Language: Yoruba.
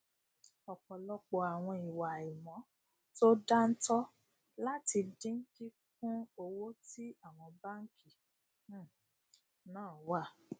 ọpọlọpọ àwọn ìwà àìmọ to dáńtọ là ti dín kíkún owó tí àwọn bánkì um náà wa